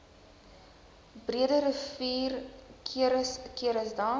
breederivier ceres ceresdam